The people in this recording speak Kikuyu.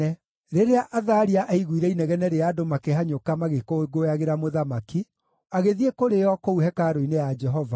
Rĩrĩa Athalia aaiguire inegene rĩa andũ makĩhanyũka magĩkũngũyagĩra mũthamaki, agĩthiĩ kũrĩ o kũu hekarũ-inĩ ya Jehova.